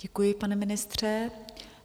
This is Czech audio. Děkuji, pane ministře.